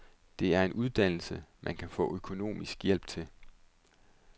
Det er en uddannelse, man kan få økonomisk hjælp til.